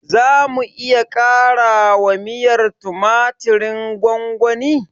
Zamu iya ƙarawa miyar tumatirin gwamgwani?